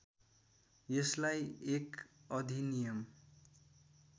यसलाई एक अधिनियम